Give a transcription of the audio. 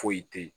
Foyi te ye